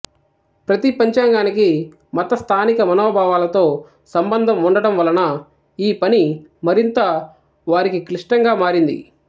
ప్రతి పంచాంగానికి మత స్థానిక మనోభావాలతో సంబంధం ఉండటం వలన ఈ పని మరింత వారికీ క్లిష్టంగా మారింది